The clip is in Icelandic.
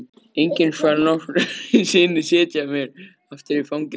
Enginn skal nokkru sinni setja mig aftur í fangelsi.